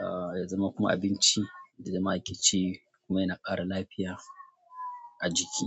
ah, ya zama kuma abinci da zama ake ci kuma yana ƙara lafiya a jiki.